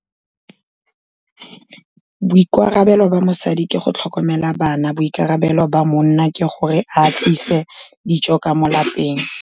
Boikarabelo ba mosadi ke go tlhokomela bana, boikarabelo ba monna ke gore a tlise dijo ka mo lapeng.